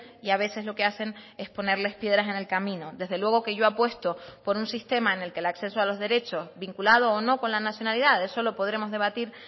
y a veces lo que hacen es ponerles piedras en el camino desde luego que yo apuesto por un sistema en el que el acceso a los derechos vinculado o no con la nacionalidad eso lo podremos debatir